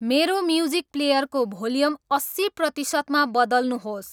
मेरो म्युजिक प्लेयरको भोल्यम अस्सी प्रतिशतमा बदल्नुहोस्